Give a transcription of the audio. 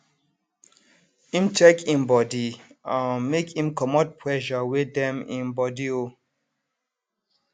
im check im body um make im comot pressure wey dem im body um